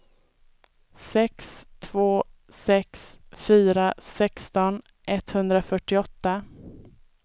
sex två sex fyra sexton etthundrafyrtioåtta